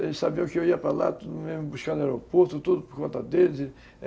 Eles sabiam que eu ia para lá, tudo mesmo, buscar no aeroporto, tudo por conta deles e